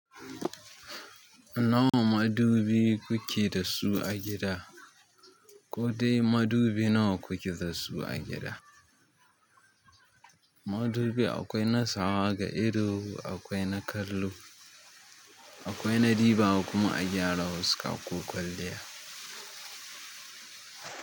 Nawa madubi kuke da su a gida? Ko dai madubi nawa kuke da su a gida? Madubi akwai na sawa ga ido, akwai na kallo, akwai na dibawa kuma a gyara weska ko kwalliya.